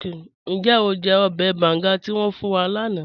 Níjẹ́ o jẹ́ bángá tí wọn fún wà láńà?